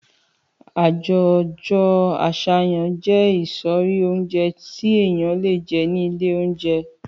Àjójõ asáyan jé ìsõrí ounjé tí èyan lé jé ni ìlé ounjé